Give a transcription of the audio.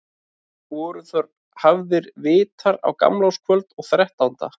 Voru þar hafðir vitar á gamlárskvöld og þrettánda.